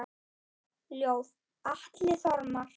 Ljóð: Atli Þormar